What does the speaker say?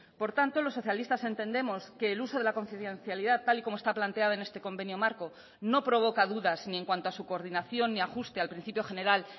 por tanto los socialistas entendemos que el uso de la confidencialidad tal y como está planteada en este convenio marco no provoca dudas ni en cuanto a su coordinación ni ajuste al principio general